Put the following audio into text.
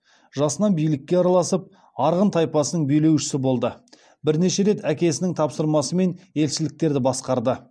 жасынан билікке араласып арғын тайпасының билеушісі болды бірнеше рет әкесінің тапсырмасымен елшіліктерді басқарды